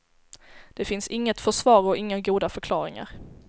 Det finns inget försvar och inga goda förklaringar.